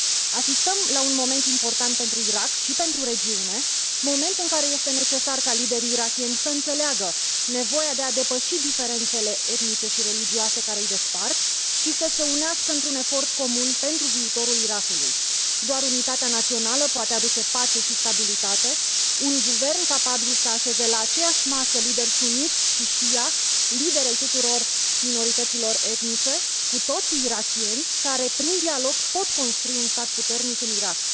Asistăm la un moment important pentru Irak și pentru regine, moment în care este necesar ca liderii irakieni să înțeleagă nevoia de a depăși diferențele etnice și religioase care îi despart și să se unească într un efort comun pentru viitorul Irakului. Doar unitatea națională poate aduce pace și stabilitate, un guvern capabil să așeze la aceeași masă lideri sunniți și shia, lideri ai tuturor minorităților etnice, cu toții irakieni, care prin dialog pot construi un stat puternic în Irak.